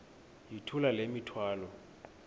yithula le mithwalo